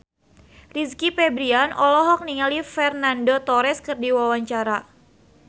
Rizky Febian olohok ningali Fernando Torres keur diwawancara